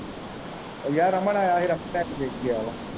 ਉਹ ਯਾਰ ।